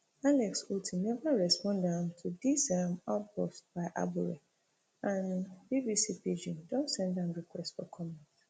alex otti neva respond um to dis um outburst by abure and bbc pidgin don send am request for comment